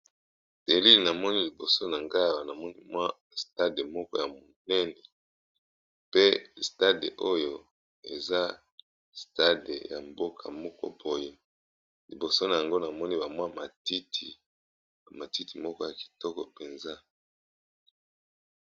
Elili namoni liboso na ngai namoni stade ya monene pe stade oyo eza ya mboka moko boye liboso namoni matiti ya kitoko penza.